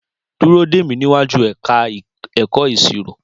Dúró dè mí níwájú ẹ̀ka ẹ̀kọ́ ìṣirò!